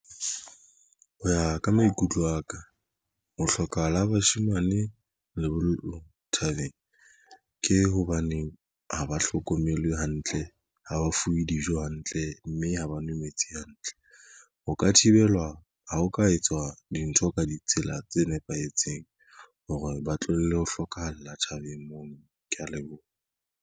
Ho ya ka maikutlo aka ho hlokahala bashemane lebollong thabeng ke hobaneng ha ba hlokomelwe hantle ha ba fuwe dijo hantle mme ha ba nwe metsi hantle. Ho ka thibelwa ha ho ka etswa dintho ka ditsela tse nepahetseng hore ba tlohelle ho hlokahala tjhabeng mono. Ke ya leboha.